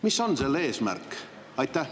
Mis on selle eesmärk?